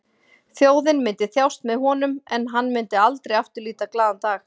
Þjóðin myndi þjást með honum en hann myndi aldrei aftur líta glaðan dag.